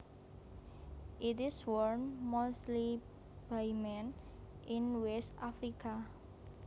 It is worn mostly by men in West Africa